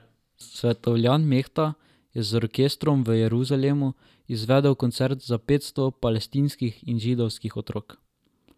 Svetovljan Mehta je z orkestrom v Jeruzalemu izvedel koncert za petsto palestinskih in židovskih otrok.